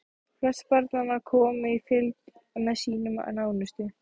Flest barnanna komu í fylgd með sínum nánustu.